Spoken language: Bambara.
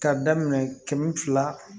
K'a daminɛ kɛmɛ fila